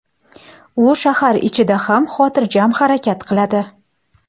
U shahar ichida ham xotirjam harakat qiladi.